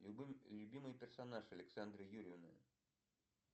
любимый персонаж александра юдина